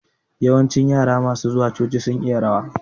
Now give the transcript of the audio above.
Yawancin masu zuwa coci sun iya rawa